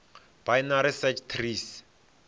binary search trees